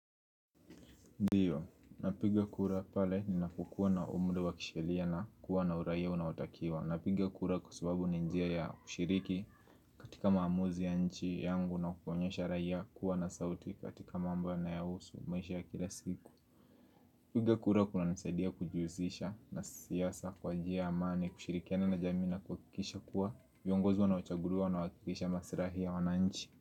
Ndiyo, napiga kura pale ninapokua na umri wa kisheria na kuwa na uraia unaotakiwa. Napiga kura kwa subabu ninjia ya ushiriki, katika maamuzi ya nchi yangu na kuonyesha raia kuwa na sauti katika mambo yanayohusu maisha ya kila siku. Napiga kura kuna nisaidia kujiusisha na siasa kwa njia ya amani, kushirikiana na jamii na kuhakikisha kuwa, viongozi wanao chaguliwa wanakilisha masilahi ya wananchi.